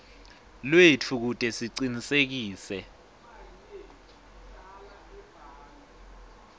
lwetfu kute sicinisekise